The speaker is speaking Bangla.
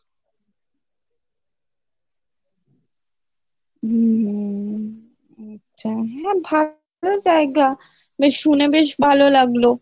হম হম আচ্ছা হ্যাঁ ভালো জায়গা বেশ শুনে বেশ ভালো লাগলো